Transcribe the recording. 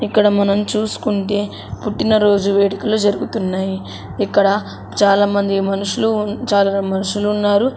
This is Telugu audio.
ఇక్కడ మనం చూసుకుంటే పుట్టినరోజు వేడుకలు జరుగుతున్నాయి ఇక్కడ చాలామంది మనుషులు చాలా మనుషులున్నారు.